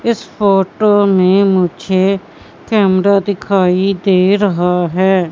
इस फोटो में मुझे कैमरा दिखाई दे रहा है।